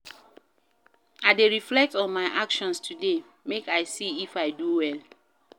I dey reflect on my actions today make I see if I do well.